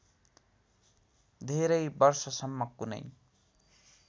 धेरै वर्षसम्म कुनै